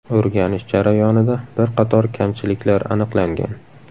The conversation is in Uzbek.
O‘rganish jarayonida bir qator kamchiliklar aniqlangan.